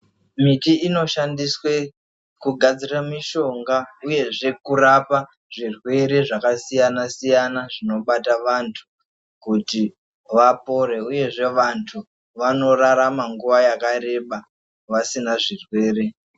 Miti inoshandiswa kugadzira mushonga uyezve kurapa zvirwere zvakasiyana siyana zvinobata vantu kuti vapore uyezve vantu vanorarama nguva yakareba vasina zvirwere.